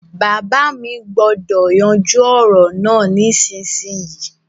Bàbá mi gbúdọ̀ yanjú ọ̀rọ̀ náà nísinsinyì